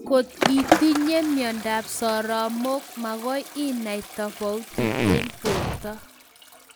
Koti itinyee myandap soromaik magoi inai tofauti eng borta